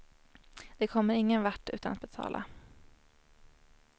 De kommer ingen vart utan att betala.